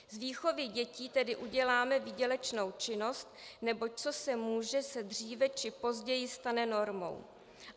Z výchovy dětí tedy uděláme výdělečnou činnost, neboť co se může, se dříve či později stane normou.